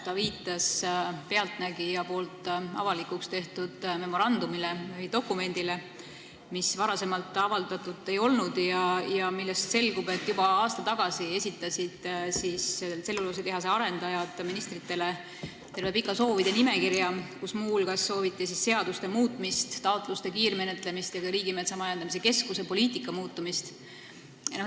Ta viitas "Pealtnägijas" avalikuks tehtud memorandumile või dokumendile, mida varem avaldatud ei olnud ja millest selgub, et juba aasta tagasi esitasid tselluloositehase arendajad ministritele terve pika soovide nimekirja, kus muu hulgas sooviti seaduste muutmist, taotluste kiirmenetlemist ja ka Riigimetsa Majandamise Keskuse poliitika muutumist.